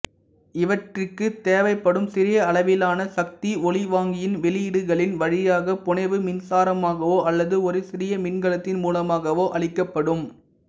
இவற்றிற்குத் தேவைப்படும் சிறியளவிலான சக்தி ஒலிவாங்கியின் வெளியீடுகளின் வழியாக புனைவு மின்சாரமாகவோ அல்லது ஒரு சிறிய மின்கலத்தின் மூலமாகவோ அளிக்கப்படும்